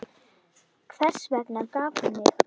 Hvers vegna gaf hún mig?